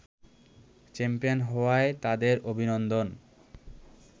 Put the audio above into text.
champion হওয়ায় তাদের অভিনন্দন